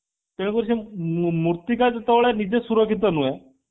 ତେଣୁକରି ମୂର୍ତ୍ତିକା ଯେତେବେଳେ ନିଜେ ସୁରକ୍ଷିତ ନୁହେଁ